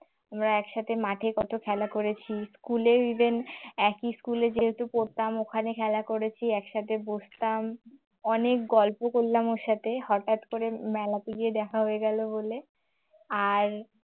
আমরা একসাথে মাঠে কত খেলা করেছি school এ even একটি school এ যেহেতু পড়তাম ওখানে খেলা করেছি একসাথে বসতাম অনেক গল্প করলাম ওর সাথে হঠাৎ করে মেলাতে গিয়ে দেখা হয়ে গেল বলে আর